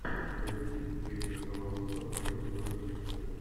найди фильм криса коламбуса планета номер пятьдесят один